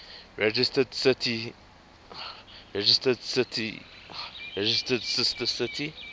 registered sister city